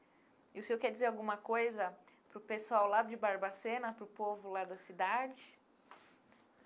E o senhor quer dizer alguma coisa para o pessoal lá de Barbacena, para o povo lá da cidade?